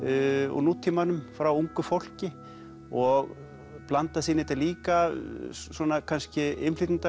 úr nútímanum frá ungu fólki og blandast inn í þetta líka svona kannski